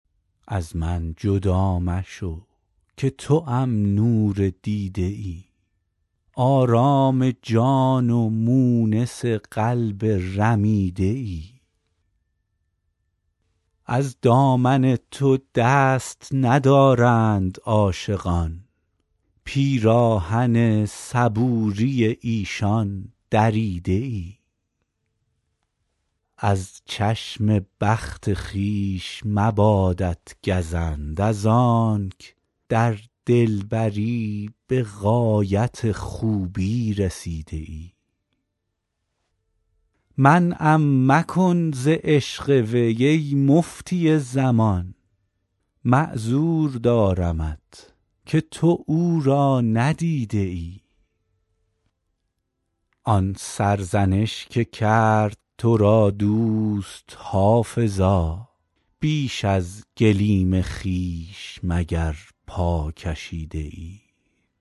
از من جدا مشو که توام نور دیده ای آرام جان و مونس قلب رمیده ای از دامن تو دست ندارند عاشقان پیراهن صبوری ایشان دریده ای از چشم بخت خویش مبادت گزند از آنک در دلبری به غایت خوبی رسیده ای منعم مکن ز عشق وی ای مفتی زمان معذور دارمت که تو او را ندیده ای آن سرزنش که کرد تو را دوست حافظا بیش از گلیم خویش مگر پا کشیده ای